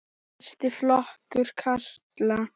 Fyrsti flokkur karla.